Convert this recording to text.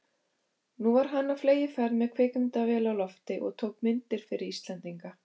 Nú var hann á fleygiferð með kvikmyndavél á lofti og tók myndir fyrir Íslendinga.